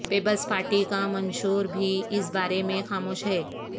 Peoples party کا منشور بھی اس بارے میں خاموش ہے